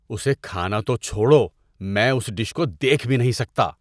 اسے کھانا تو چھوڑو، میں اس ڈش کو دیکھ بھی نہیں سکتا۔